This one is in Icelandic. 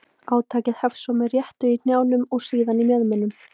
Átakið hefst svo með réttu í hnjám og síðan í mjöðmum.